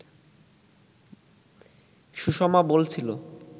সুষমা বলছিল